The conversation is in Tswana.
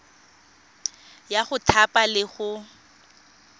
ya go thapa le go